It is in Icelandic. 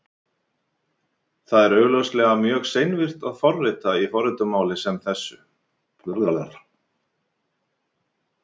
Það er augljóslega mjög seinvirkt að forrita í forritunarmáli sem þessu.